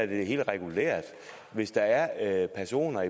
det er helt regulært at hvis der er personer